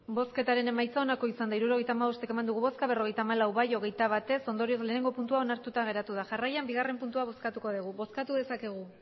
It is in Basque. hirurogeita hamabost eman dugu bozka berrogeita hamalau bai hogeita bat ez ondorioz batgarrena puntua onartuta geratu da jarraian bigarrena puntua bozkatuko dugu bozkatu dezakegu